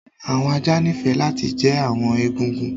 Awọn ajá níìfẹ lati jẹ́ awọn ègúngún